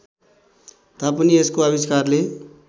तापनि यसको आविष्कारले